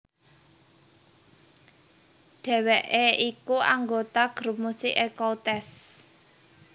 Dheweké iku anggota grup musik Ecoutez